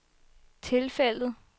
tilfældet